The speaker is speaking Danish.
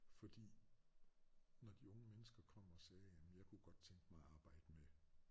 Fordi når de unge mennesker kom og sagde jamen jeg kunne godt tænke mig at arbejde med